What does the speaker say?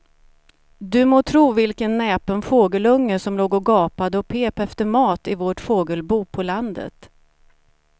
Du må tro vilken näpen fågelunge som låg och gapade och pep efter mat i vårt fågelbo på landet.